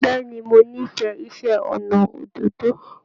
Bẹ̀ẹ́ni mo n'ifẹ iṣẹ ọnà òdòdó.